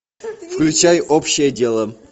включай общее дело